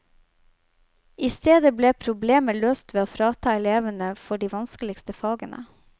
I stedet ble problemet løst ved å frita elevene for de vanskeligste fagene.